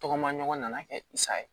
Tɔgɔma ɲɔgɔn nana kɛ sa ye